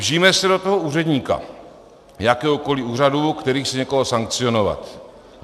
Vžijme se do toho úředníka jakéhokoliv úřadu, který chce někoho sankcionovat.